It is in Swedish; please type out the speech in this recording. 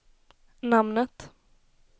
namnet